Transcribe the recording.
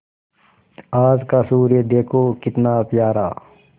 आज का सूर्य देखो कितना प्यारा